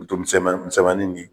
Foroton minsɛnman minsɛnmanin ni